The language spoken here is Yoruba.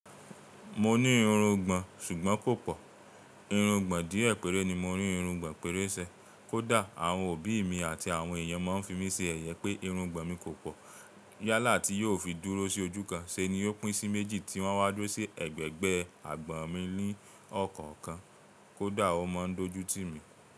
Mo ní irun gbọ̀n ṣùgbọ́n kò pọ̀. Irun gbọ̀n díẹ̀ péré ni mo irun gbọ̀n péré ṣe. Kódà àwọn òbí mi àti àwọn èèyàn máa ń fi mí ṣe ẹ̀yẹ pé irun gbọ̀n mi kò pọ̀. Yálà tí yóò fi dúró sí ojú kan ṣeni ó pín sí méjì tí wọ́n á wádò sí ẹ̀gbẹ̀gbẹ́ àgbọ̀n mi ní ọ̀kọ̀ọ̀kan. Kódà o n máa ń dojútì mi.